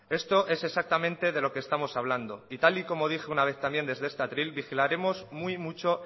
esto es exactamente de lo que estamos hablando y tal y como dije una vez también desde este atril vigilaremos muy mucho